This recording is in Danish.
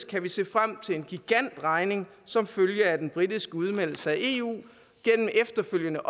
kan vi se frem til en gigantregning som følge af den britiske udmeldelse af eu gennem efterfølgende